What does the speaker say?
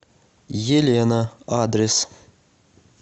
елена адрес